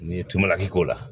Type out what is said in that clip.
N'i ye tuma k'o la